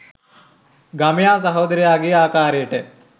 ගමයා සහොදරයගේ ආකාරයට